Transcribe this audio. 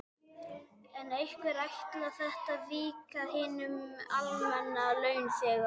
En hvernig ætlar þetta víki við hinum almenna launþega?